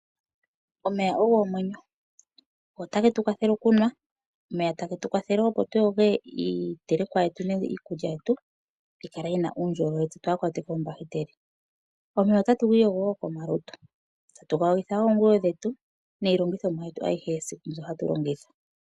Omeya ogo omwenyo. Otage tu kwathele okunwa. Omeya tage tu kwathele opo tu yoge iitelekwa yetu nenge iikulyayetu, tayi kala yi na uundjolowele tse twaa kwatwe koombahiteli. Omeya otatu giiyigo wo komalutu, tatu ga yogitha wo oonguwo dhetu niilongithomwa yetu ayihe yesiku mbyo hatu longitha.